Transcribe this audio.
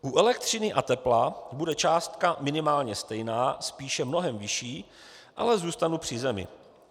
U elektřiny a tepla bude částka minimálně stejná, spíše mnohem vyšší - ale zůstanu při zemi.